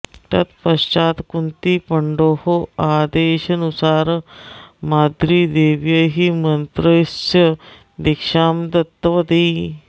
तत्पश्चात् कुन्ती पण्डोः आदेशनुसारं माद्रीदेव्यै मन्त्रस्य दीक्षां दत्तवती